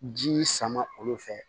Ji sama olu fɛ